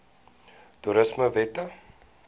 toerismewette